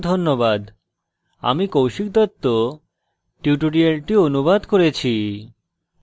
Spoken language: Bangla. আমি কৌশিক দত্ত এই টিউটোরিয়ালটি অনুবাদ করেছি